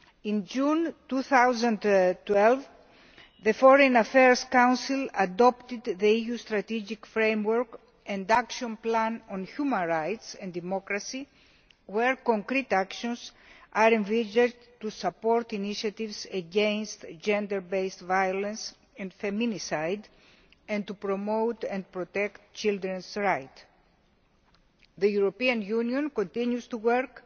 In June 2012, the Foreign Affairs Council adopted the new strategic framework induction plan on human rights and democracy, in which concrete actions are envisaged to support initiatives against gender based violence and feminicide and to promote and protect children's rights. The European Union continues to work